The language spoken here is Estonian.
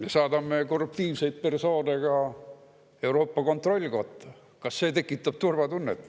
Me saadame korruptiivseid persoone ka Euroopa Kontrollikotta kõige kõrgematele ametikohtadele.